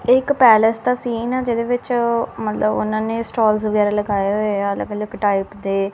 एक पैलेस का सीन है जगह विच मतलब उन्होंने स्टाल्स वगेरह लगाये हुए है यहां अलग अलग टाइप के--